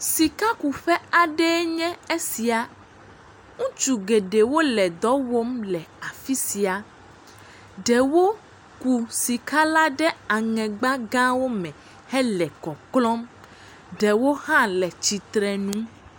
Sika ku ƒe nye esia, ŋutsu geɖe wole ɖɔ wɔm le afi sia, ɖewo ku sika la ɖe aŋɛ gba gãwo me hele kɔklɔ, ɖewo hã le tsitre nu.